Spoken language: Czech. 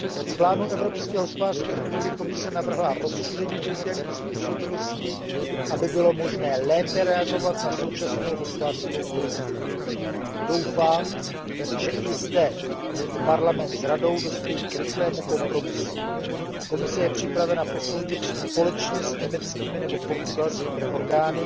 V Plánu evropské hospodářské obnovy Komise navrhla rozšíření kritérií způsobilosti, aby bylo možné lépe reagovat na současnou hospodářskou krizi. Doufám, že i zde Parlament s Radou dospějí k rychlému kompromisu. Komise je připravena posoudit společně s německými nebo portugalskými orgány